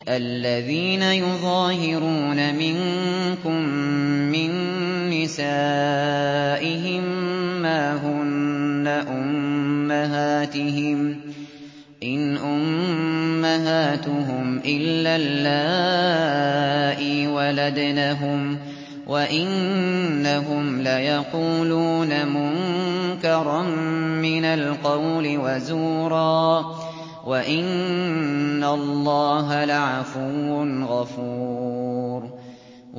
الَّذِينَ يُظَاهِرُونَ مِنكُم مِّن نِّسَائِهِم مَّا هُنَّ أُمَّهَاتِهِمْ ۖ إِنْ أُمَّهَاتُهُمْ إِلَّا اللَّائِي وَلَدْنَهُمْ ۚ وَإِنَّهُمْ لَيَقُولُونَ مُنكَرًا مِّنَ الْقَوْلِ وَزُورًا ۚ وَإِنَّ اللَّهَ لَعَفُوٌّ غَفُورٌ